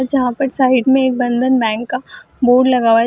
जहाँ पर साइड में एक बंधन बॅंक का बोर्ड लगा हुआ है।